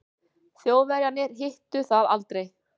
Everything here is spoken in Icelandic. Þjóðverjarnir hittu það aldrei.